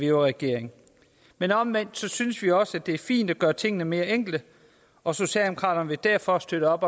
i regering men omvendt synes vi også at det er fint at gøre tingene mere enkle og socialdemokraterne vil derfor støtte